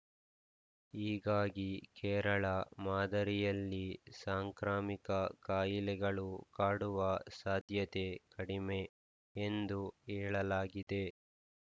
ಹೀಗಾಗಿ ಕೇರಳ ಮಾದರಿಯಲ್ಲಿ ಸಾಂಕ್ರಾಮಿಕ ಕಾಯಿಲೆಗಳು ಕಾಡುವ ಸಾಧ್ಯತೆ ಕಡಿಮೆ ಎಂದು ಹೇಳಲಾಗಿದೆ